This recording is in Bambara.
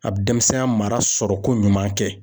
A bi denmisɛnya mara sɔrɔ ko ɲuman kɛ